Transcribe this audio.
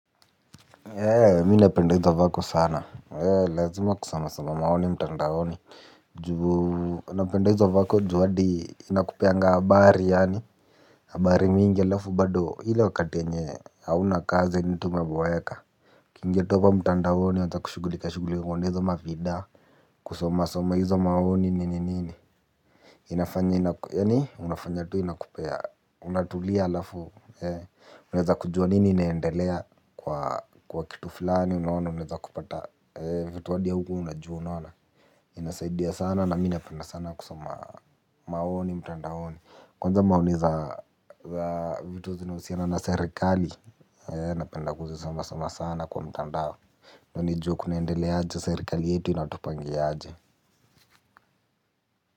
Eeh! Mimi napenda hizo vako sana. Eeh! Lazima kusoma soma maoni mtandaoni juu napenda hizo vako juu hadi inakupeanga habari yaani habari mingi halafu bado ile wakati yenye hauna kazi yaani tu umeboeka. Ukiingia tu hapo mtandaoni uanze kushugulika shugulikia kuona hizo mavida kusomasoma hizo maoni nini nini inafanya yaani unafanya tu inakupea unatulia halafu Eeh, Unaeza kujua nini inaendelea kwa kitu fulani unaona? Unaeza kupata vitu hadi haukuwa unajua. Unaona? Inasaidia sana na mi napenda sana kusoma maoni mtandaoni, kwanza maoni za vitu zinahusiana na sirikali, eeh! Napenda kuzisoma soma sana kwa mtandao. Nijue kunaendelea aje, serekali yetu inatupangia aje.